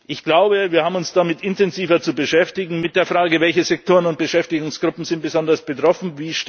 Ich glaube, wir haben uns damit intensiver zu beschäftigen, mit den Fragen Welche Sektoren und Beschäftigungsgruppen sind besonders betroffen?